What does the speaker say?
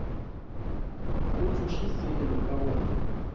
go thuše selo ka gore